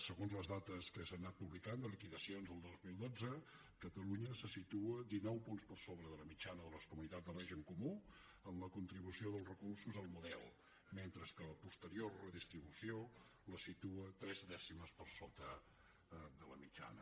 segons les dates que s’han anat publicant de liquidacions al dos mil dotze catalunya se situa dinou punts per sobre de la mitjana de les comunitats de règim comú amb la contribució dels recursos al model mentre que la posterior redistribució la situa tres dècimes per sota de la mitjana